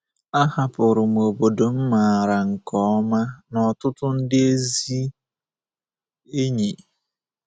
Ahapụrụ m obodo m maara nke ọma na ọtụtụ ndị ezi enyi.